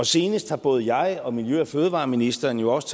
senest har både jeg og miljø og fødevareministeren jo også